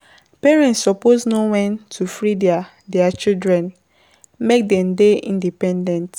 Parents suppose know wen to free theirtheir children make dem dey independent.